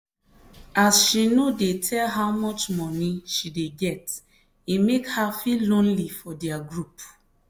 as she no dey tell how much money she dey get e make her feel lonely for their group.